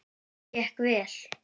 Mér gekk vel.